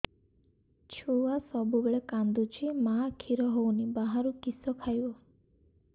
ଛୁଆ ସବୁବେଳେ କାନ୍ଦୁଚି ମା ଖିର ହଉନି ବାହାରୁ କିଷ ଖାଇବ